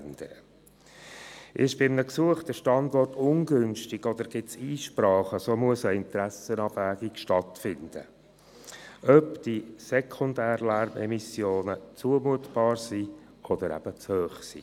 Ist bei einem Gesuch der Standort ungünstig und gibt es Einsprachen, so muss eine Interessenabwägung stattfinden, ob die sekundären Lärmimmissionen zumutbar oder zu hoch sind.